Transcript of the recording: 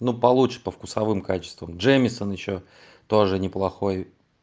ну получше по вкусовым качествам джемесон ещё тоже неплохой